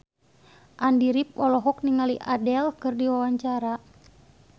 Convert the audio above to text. Andy rif olohok ningali Adele keur diwawancara